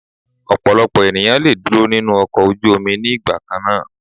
Ọ̀pọ̀lọpọ̀ ènìyàn le dúró nínú ọkọ̀ ojú omi ní ìgbà kannáà.